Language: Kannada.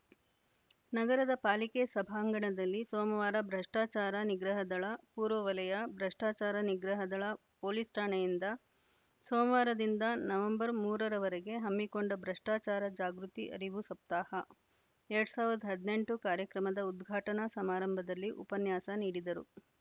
ನಗರದ ಪಾಲಿಕೆ ಸಭಾಂಗಣದಲ್ಲಿ ಸೋಮವಾರ ಭ್ರಷ್ಟಾಚಾರ ನಿಗ್ರಹ ದಳ ಪೂರ್ವ ವಲಯ ಭ್ರಷ್ಟಾಚಾರ ನಿಗ್ರಹ ದಳ ಪೊಲೀಸ್‌ ಠಾಣೆಯಿಂದ ಸೋಮವಾರದಿಂದ ನವೆಂಬರ್ ಮೂರರವರೆಗೆ ಹಮ್ಮಿಕೊಂಡ ಭ್ರಷ್ಟಾಚಾರ ಜಾಗೃತಿ ಅರಿವು ಸಪ್ತಾಹ ಎರಡ್ ಸಾವಿರದ ಹದಿನೆಂಟು ಕಾರ್ಯಕ್ರಮದ ಉದ್ಘಾಟನಾ ಸಮಾರಂಭದಲ್ಲಿ ಉಪನ್ಯಾಸ ನೀಡಿದರು